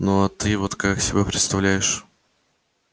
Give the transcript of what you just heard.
ну а ты вот как себе представляешь